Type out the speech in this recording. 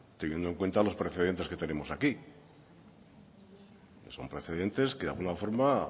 teniendo en cuenta los precedentes que tenemos aquí son precedentes que de alguna forma